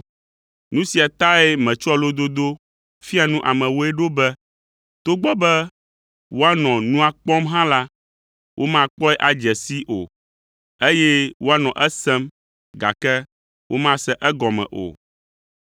Nu sia tae metsɔa lododo fia nu amewoe ɖo be; “Togbɔ be woanɔ nua kpɔm hã la, womakpɔe adze sii o, eye woanɔ esem, gake womase egɔme o.